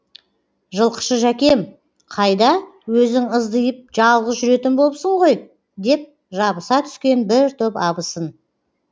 жылқышы жәкем қайда өзің ыздиып жалғыз жүретін болыпсың ғой деп жабыса түскен бір топ абысын